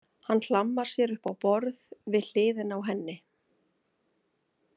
Hann hlammar sér upp á borð við hliðina á henni.